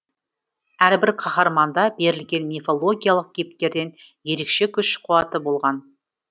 әрбір қаһарманда берілген мифологиялық кейіпкерден ерекше күш қуаты болған